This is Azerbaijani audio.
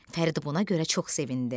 Fərid buna görə çox sevindi.